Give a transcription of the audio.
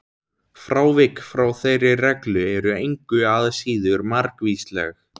Frávik frá þeirri reglu eru engu að síður margvísleg.